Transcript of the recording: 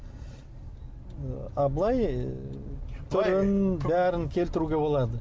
а былай ы түрін бәрін келтіруге болады